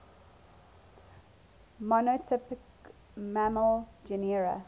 monotypic mammal genera